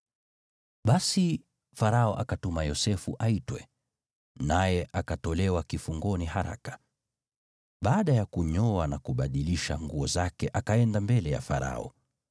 Basi, Farao akatuma Yosefu aitwe, naye akatolewa kifungoni haraka. Baada ya kunyoa na kubadilisha nguo zake akaenda mbele ya Farao.